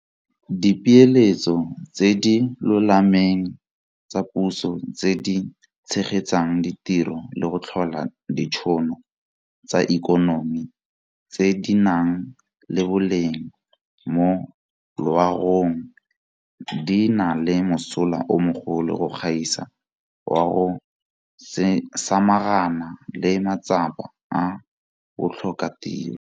Dipeeletso tse di lolameng tsa puso tse di tshegetsang ditiro le go tlhola ditšhono tsa ikonomi tse di nang le boleng mo loagong di na le mosola o mogolo go gaisa wa go samaganana le matsapa a botlhokatiro.